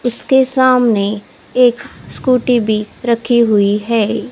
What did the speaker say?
उसके सामने एक स्कूटी भी रखी हुईं हैं।